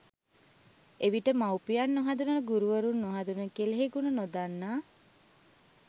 එවිට මව්පියන් නොහඳුනන ගුරුවරුන් නොහඳුනන කෙළෙහිගුණ නොදන්නා